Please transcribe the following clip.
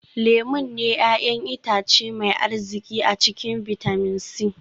Lemun ne 'ya'yan itace mai arziki a cikin bitamin c